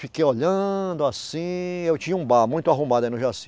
Fiquei olhando assim, eu tinha um bar muito arrumado aí no Jaci.